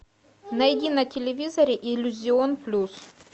найди на телевизоре иллюзион плюс